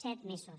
set mesos